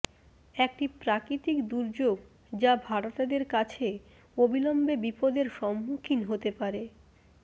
একটি প্রাকৃতিক দুর্যোগ যা ভাড়াটেদের কাছে অবিলম্বে বিপদের সম্মুখীন হতে পারে